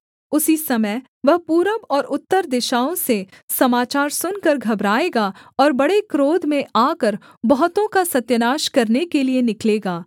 उसी समय वह पूरब और उत्तर दिशाओं से समाचार सुनकर घबराएगा और बड़े क्रोध में आकर बहुतों का सत्यानाश करने के लिये निकलेगा